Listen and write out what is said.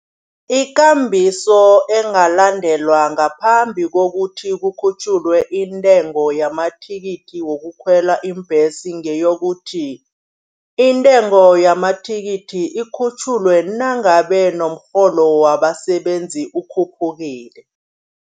Ikambiso engalandelwa ngaphambi kokuthi kukhutjhulwe intengo yamathikithi wokukhwela iimbhesi ngeyokuthi. Intengo yamathikithi ikhutjhulwe nangabe nomrholo wabasebenzi ukhuphukile.